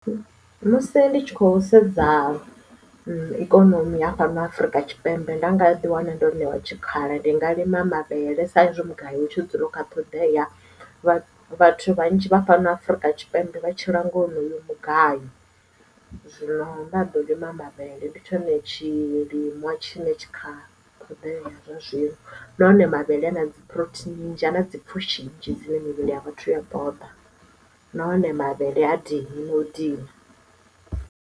Musi ndi tshi khou sedza ikonomi ya fhano afrika tshipembe nda nga ḓi wana ndo ṋewa tshikhala ndi nga lima mavhele sa izwi mugayo utshi dzula kha ṱhoḓea vhathu vhanzhi vha fhano afrika tshipembe vha tshila nga honoyo mugayo zwino vha ndaḓo lima mavhele ndi tshone tshilinwa tshine tshi kha ṱhoḓea zwa zwino nahone mavhele na phurotheini ana dzipfushi dzine mivhili ya vhathu ya ḓoḓa nahone mavhele ha dini no dina.